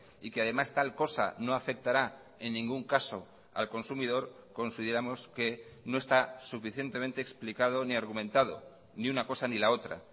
y que además tal cosa no afectará en ningún caso al consumidor consideramos que no está suficientemente explicado ni argumentado ni una cosa ni la otra